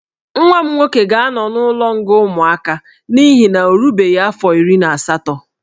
Nwa m nwoke ga-anọ n'ụlọ nga ụmụaka n'ihi na ọ erubeghị afọ iri na asatọ